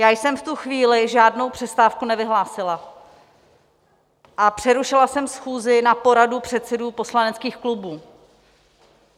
Já jsem v tu chvíli žádnou přestávku nevyhlásila a přerušila jsem schůzi na poradu předsedů poslaneckých klubů.